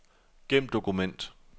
Gem dokument.